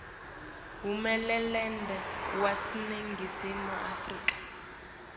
hulumende waseningizimu afrika